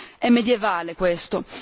È medievale questo.